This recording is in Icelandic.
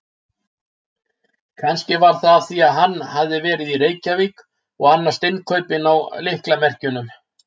Kannski var það af því hann hafði verið í Reykjavík og annast innkaupin á lyklamerkjunum.